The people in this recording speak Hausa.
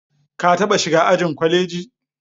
Ka taɓa shiga ajin kwaleji?